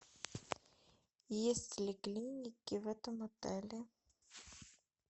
есть ли клиники в этом отеле